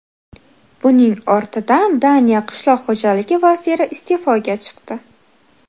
Buning ortidan Daniya qishloq xo‘jaligi vaziri iste’foga chiqdi.